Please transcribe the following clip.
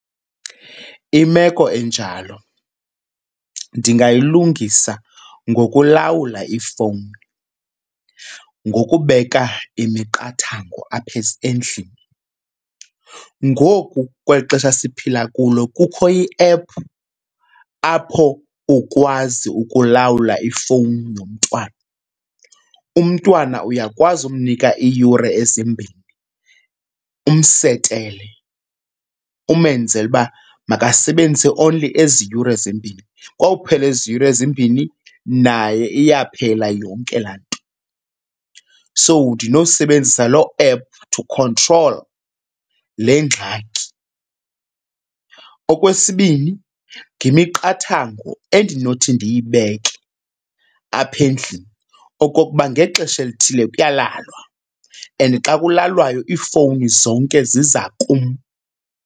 Imeko enjalo ndingayilungisa ngokulawula ifowuni ngokubeka imiqathango apha endlini. Ngoku kweli xesha siphila kulo kukho i-app apho ukwazi ukulawula ifowuni yomntwana. Umntwana uyakwazi umnika iiyure ezimbini umsetele. Umenzele uba makasebenzise only ezi yure zimbini, kwawuphela ezi yure zimbini naye iyaphela yonke laa nto. So ndinosebenzisa loo app to control le ngxaki. Okwesibini ngemiqathango endinothi ndiyibeke apha endlini okokuba ngexesha elithile kuyalalwa and xa kulalwayo, iifowuni zonke ziza kum.